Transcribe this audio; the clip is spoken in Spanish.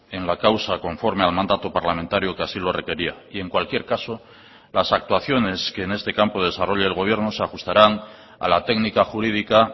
en la causa conforme al mandato parlamentario que así lo requería y en cualquier caso las actuaciones que en este campo desarrolle el gobierno se ajustarán a la técnica jurídica